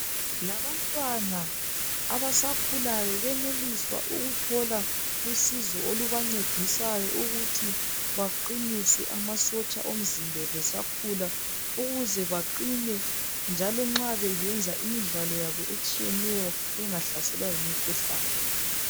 Labantwana abasakhulayo benelisa ukuthola usizo olubancedisayo ukuthi baqinise amasotsha omzimba besakhula ukuze baqine, njalo nxa besenza imidlalo yabo etshiyeneyo bengahlaselwa yimikhuhlane.